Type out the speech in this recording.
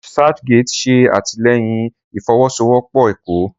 ResearchGate ṣẹ atilẹyìn ìfọwọsowopo ẹkọ.